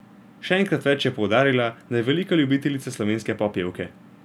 Še enkrat več je poudarila, da je velika ljubiteljica Slovenske popevke.